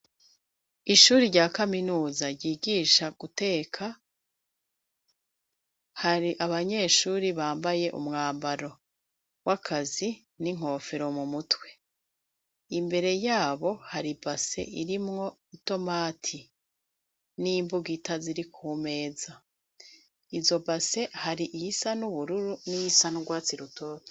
Ishuri rya kaminuza yigisha guteka, hari abanyeshuri bambaye umwambaro w'akazi n'inkofero mu mutwe, imbere yabo hari ibase irimwo itomati n'imbugita ziri ku meza, izo base hari iyisa n'ubururu n'iyisa n'urwatsi rutoto.